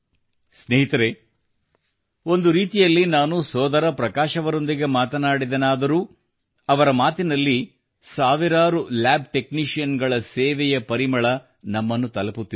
ಸ್ನೇಹಿತರೆ ಒಂದು ರೀತಿಯಲ್ಲಿ ನಾನು ಸೋದರ ಪ್ರಕಾಶ್ ಅವರೊಂದಿಗೆ ಮಾತನಾಡಿದೆನಾದರೂ ಅವರ ಮಾತಿನಲ್ಲಿ ಸಾವಿರಾರು ಲ್ಯಾಬ್ ಟೆಕ್ನೀಷಿಯನ್ಸ್ ಗಳ ಸೇವೆಯ ಪರಿಮಳ ನಮ್ಮನ್ನು ತಲಪುತ್ತಿದೆ